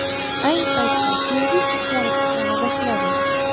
Ayni paytda servis ishlari tiklana boshladi.